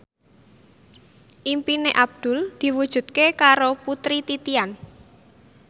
impine Abdul diwujudke karo Putri Titian